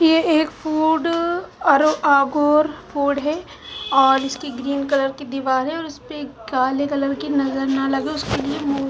ये एक कुडू अरु अ गुर कुड़ है और इसकी ग्रीन कलर की दीवार है और उसपे काले कलर के नज़र ना लगे उसकेलिये मु--